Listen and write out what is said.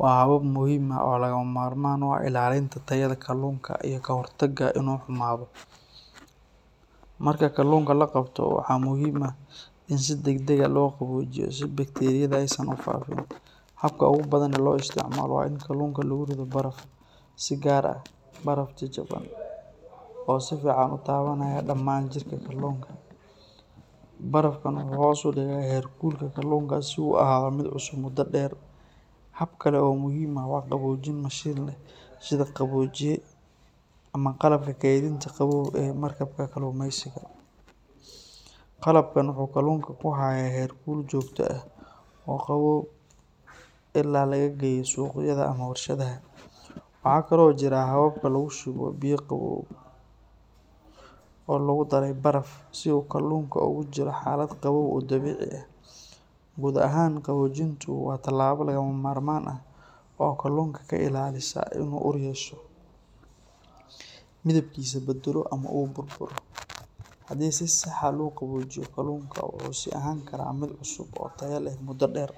waa habab muhiim ah oo lagama maarmaan u ah ilaalinta tayada kalluunka iyo ka hortagga inuu xumaado. Marka kalluunka la qabto, waxaa muhiim ah in si degdeg ah loo qaboojiyo si bakteeriyada aysan u faafin. Habka ugu badan ee loo isticmaalo waa in kalluunka lagu rido baraf, si gaar ah baraf jajaban oo si fiican u taabanaya dhammaan jirka kalluunka. Barafkan wuxuu hoos u dhigaa heerkulka kalluunka si uu u ahaado mid cusub muddo dheer. Hab kale oo muhiim ah waa qaboojin mashiin leh sida qaboojiye ama qalabka kaydinta qabow ee markabka kalluumaysiga. Qalabkan wuxuu kalluunka ku hayaa heerkul joogto ah oo qabow ilaa laga geeyo suuqyada ama warshadaha. Waxaa kale oo jira habka lagu shubo biyo qabow oo lagu daray baraf si uu kalluunka ugu jiro xaalad qabow oo dabiici ah. Guud ahaan, qaboojintu waa talaabo lagama maarmaan ah oo kalluunka ka ilaalisa inuu ur yeesho, midabkiisa beddelo ama uu burburo. Haddii si sax ah loo qaboojiyo, kalluunka wuxuu sii ahaan karaa mid cusub oo tayo leh muddo dheer.